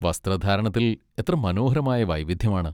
വസ്ത്രധാരണത്തിൽ എത്ര മനോഹരമായ വൈവിധ്യമാണ്!